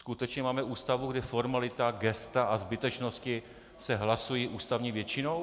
Skutečně máme Ústavu, kde formalita, gesta a zbytečnosti se hlasují ústavní většinou?